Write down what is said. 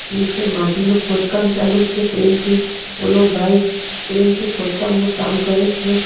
નીચે માટીનું ખોદકામ ચાલુ છે ક્રેન થી ઓલો ભાઈ ક્રેન થી ખોદકામનું કામ કરે છે.